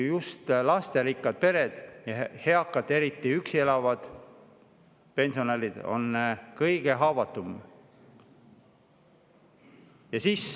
Just lasterikkad pered ja eakad, eriti üksi elavad pensionärid, on ju kõige haavatavamad.